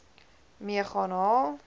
mee gaan haal